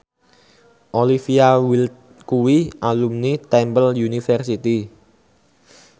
Olivia Wilde kuwi alumni Temple University